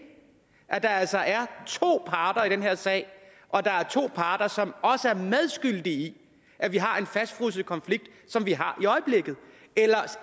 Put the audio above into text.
at der altså er to parter i den her sag og at der er to parter som også er medskyldige i at vi har en fastfrosset konflikt som vi har i øjeblikket eller